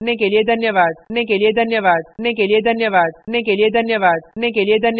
मैं यश वोरा आपसे विदा लेता हूँ हमसे जुड़ने के लिए धन्यवाद